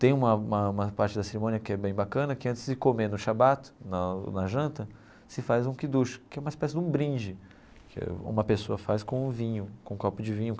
Tem uma uma uma parte da cerimônia que é bem bacana, que antes de comer no Shabbat, na na janta, se faz um Kiddush, que é uma espécie de um brinde, que uma pessoa faz com o vinho, com um copo de vinho.